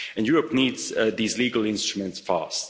Europe needs these legal instruments fast.